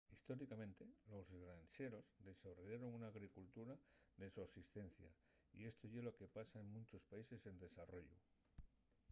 históricamente los granxeros desarrollaron una agricultura de sosistencia y esto ye lo que pasa en munchos países en desarrollu